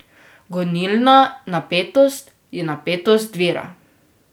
Gonilna napetost je napetost vira.